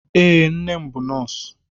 Ee, nne m bú nọọsụ